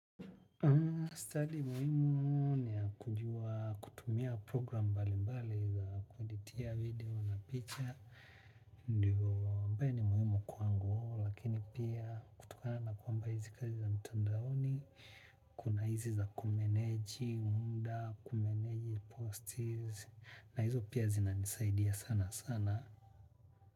Stadi muhimu ni ya kujua kutumia program mbalimbali za kueditia video na picha. Ndiyo ambaye ni muhimu kwangu lakini pia kutokana na kwamba hizi kazi za mtandaoni kuna hizi za kumeneji, muda, kumeneji posti na hizo pia zinanisaidia sanasana.